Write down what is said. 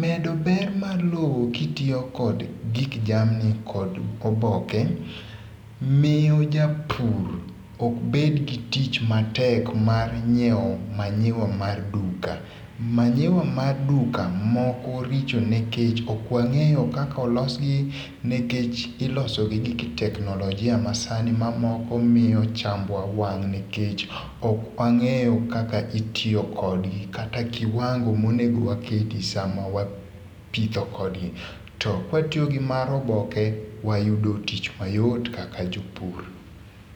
Medo ber mar lowo kitiyo kod gik jamni kod oboke miyo japur ok bed gi tich matek mar nyiewo manure mar duka. Manure mar duka moko richo nikech ok wang'eyo kaka olosgi nikech iloso gi gik technologia ma sani mamoko miyo chambwa wang' nikech ok wang'eyo kaka itiyo kodgi kata kiwango monego waketi sa ma wapitho kodgi to kawatiyo kod mar oboke wayudo tich mayot kaka jo pur.